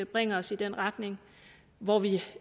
bringer os i den retning hvor vi